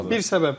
Bir səbəb bu.